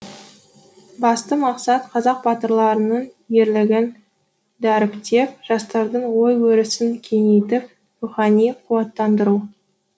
басты мақсат қазақ батырларының ерлігін дәріптеп жастардың ой өрісін кеңейтіп рухани қуаттандыру